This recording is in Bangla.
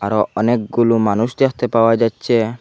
আরও অনেকগুলো মানুষ দেখতে পাওয়া যাচ্ছে।